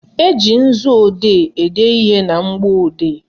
Eji nzuodee ede ihe na mgbọodee